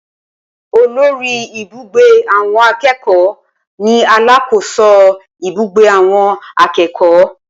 Olórí ìbúgbé àwọn akẹ́kọ̀ọ́ ni alákòóso ibùgbé àwọn akẹ́kọ̀ọ́